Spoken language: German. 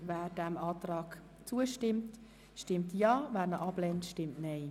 Wer dem Kreditantrag zustimmt, stimmt Ja, wer diesen ablehnt, stimmt Nein.